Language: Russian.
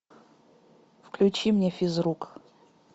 включи мне физрук